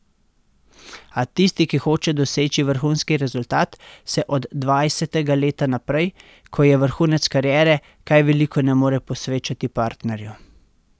A tisti, ki hoče doseči vrhunski rezultat, se od dvajsetega leta naprej, ko je vrhunec kariere, kaj veliko ne more posvečati partnerju.